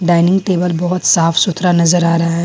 Dining table बहुत साफ सुथरा नजर आ रहा है।